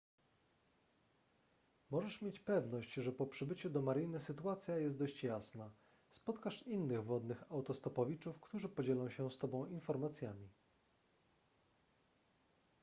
możesz mieć pewność że po przybyciu do mariny sytuacja jest dość jasna spotkasz innych wodnych autostopowiczów którzy podzielą się z tobą informacjami